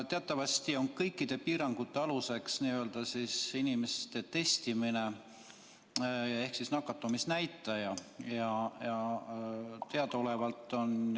Teatavasti on kõikide piirangute aluseks inimeste testimine ehk nakatumisnäitaja.